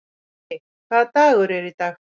Muggi, hvaða dagur er í dag?